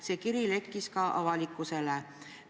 See kiri lekkis ka avalikkusele.